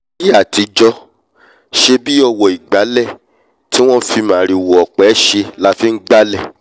láíyé àtijọ́ ṣèbí ọwọ̀ ìgbálẹ̀ tí wọ́n fi màrìwò ọ̀pẹ ṣe la fi ngbálẹ̀